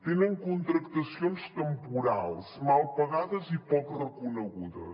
tenen contractacions temporals mal pagades i poc reconegudes